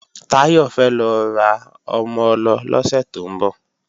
Táyọ̀ fẹ́ lọ ra ọmọ-ọlọ lọ́sẹ̀ tó ń bọ̀